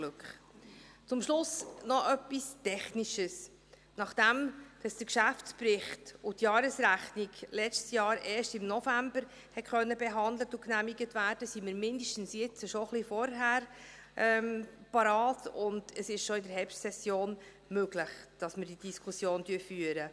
Zum Schluss noch etwas Technisches: Nachdem der Geschäftsbericht und die Jahresrechnung letztes Jahr erst im November behandelt und genehmigt werden konnten, sind wir mindestens jetzt schon ein wenig früher parat, sodass es möglich ist, dass wir diese Diskussion bereits in der Herbstsession führen.